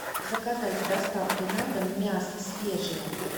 заказать с доставкой на дом мясо свежее